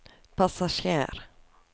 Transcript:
passasjer